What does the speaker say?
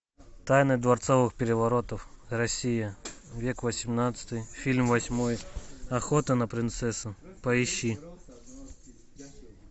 тайны дворцовых переворотов россия век восемнадцатый фильм восьмой охота на принцессу поищи